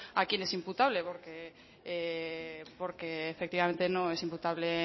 a quién es imputable porque efectivamente no es imputable